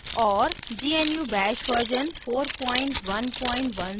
और * gnu bash version 4110